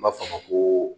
N b'a fɔ a ma ko